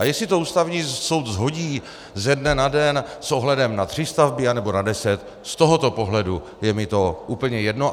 A jestli to Ústavní soud shodí ze dne na den s ohledem na tři stavby, anebo na deset, z tohoto pohledu je mi to úplně jedno.